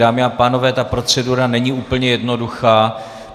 Dámy a pánové, ta procedura není úplně jednoduchá.